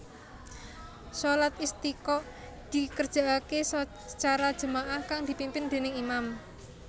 Shalat Istisqa dikerjakake sacara jama ah kang dipimpin dèning imam